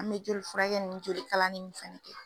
An mɛ joli furakɛ ni jolikalani nun fana kɛ.